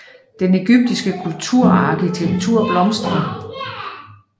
Den egyptiske kultur og arkitektur blomstrer